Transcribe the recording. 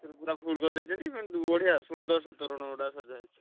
ପୁରା full କରିଦେଇଛନ୍ତି ମାନେ ବଢିଆ ସୁନ୍ଦରସେ ତୋରଣ ଗୁଡା ସଜା ହେଇଛି।